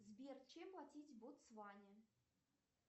сбер чем платить в ботсване